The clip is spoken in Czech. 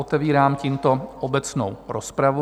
Otevírám tímto obecnou rozpravu.